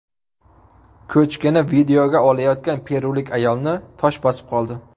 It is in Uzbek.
Ko‘chkini videoga olayotgan perulik ayolni tosh bosib qoldi.